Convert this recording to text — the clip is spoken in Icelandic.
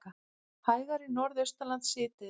Hægari Norðaustanlands síðdegis